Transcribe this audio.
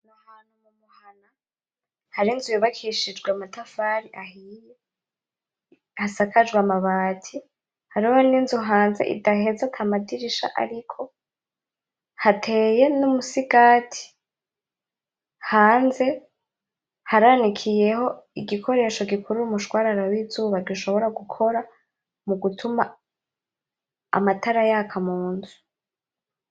Aho hantu mumuhana hari inzu yubakishijwe amatafari ahiye, hasakajwe amabati, hariho ninzu hanze idaheze ata madirisha ariko, hateye numusigati, hanze haranikiyeho igikoresho gikora umushwarara wizuba dushobora gukora mugutuma amatara yaka munzu.